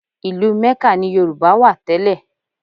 Ìlú Ḿẹ́kà ni Yorùbá wà tẹ́lẹ̀